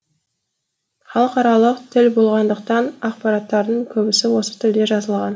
халықаралық тіл болғандықтан ақпараттардың көбісі осы тілде жазылған